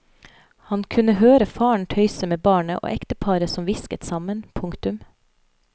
Han kunne høre faren tøyse med barnet og ekteparet som hvisket sammen. punktum